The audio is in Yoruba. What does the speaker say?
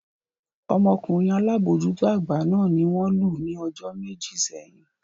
Ọmọkunrin alabojuto agba náà ni won lu ni ojo meji seyin.